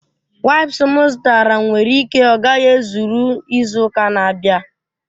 Waips m zụtara nwere ike ọ gaghị ezuru izu ụka na-abịa